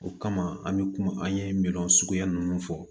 O kama an bɛ kuma an ye minan suguya ninnu fɔ